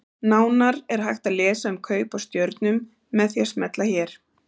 Nánar er hægt að lesa um kaup á stjörnum með því að smella hér.